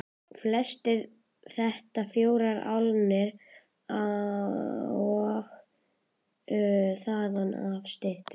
Flestir þetta fjórar álnir og þaðan af styttri.